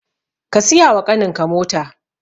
Ka siyawa ƙaninka mota